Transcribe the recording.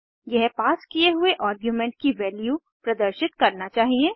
यह पास किये हुए आर्गुमेंट की वैल्यू प्रदर्शित करना चाहिए